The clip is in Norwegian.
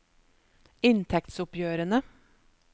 inntektsoppgjørene